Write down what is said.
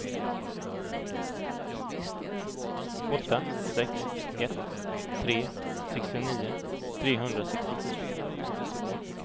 åtta sex ett tre sextionio trehundrasextiosju